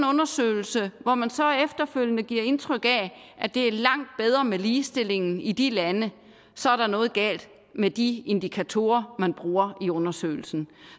undersøgelse hvor man så efterfølgende giver indtryk af at det er langt bedre med ligestillingen i de lande så er der noget galt med de indikatorer man bruger i undersøgelsen